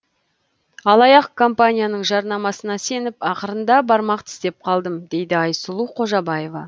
алаяқ компанияның жарнамасына сеніп ақырында бармақ тістеп қалдым дейді айсұлу қожабаева